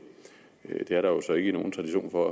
det er der så ikke nogen tradition for